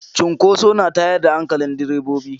Cinkoso na tayar da hankalin direbobi.